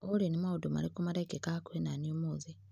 Olĩ nĩ maũndũ marĩkũ marekĩka hakuhĩ naniĩ ũmũthĩ ?